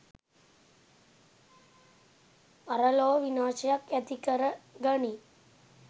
පරලොව විනාශයත් ඇතිකර ගනියි.